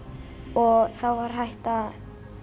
og þá var hægt að